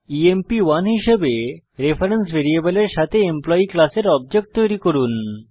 EMP1 হিসাবে reference ভ্যারিয়েবলের সাথে এমপ্লয়ী ক্লাসের অবজেক্ট তৈরি করুন